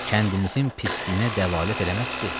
Kəndimizin pisliyinə dəlalət eləməz ki.